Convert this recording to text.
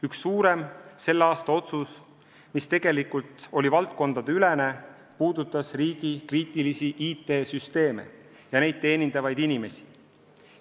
Üks suurem selle aasta otsus, mis tegelikult oli valdkondadeülene, puudutas riigi kriitilisi IT-süsteeme ja neid teenindavaid inimesi.